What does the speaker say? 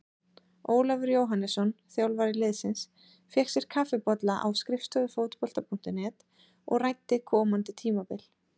Ólafur Jóhannesson, þjálfari liðsins, fékk sér kaffibolla á skrifstofu Fótbolta.net og ræddi komandi tímabil.